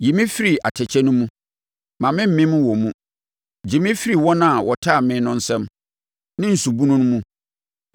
Yi me firi atɛkyɛ no mu, mma memmem wɔ mu; gye me firi wɔn a wɔtane me no nsam, ne nsu bunu mu.